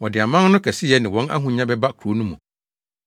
Wɔde aman no kɛseyɛ ne wɔn ahonya bɛba kurow no mu.